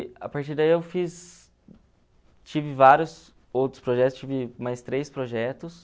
E a partir daí eu fiz, tive vários outros projetos, tive mais três projetos.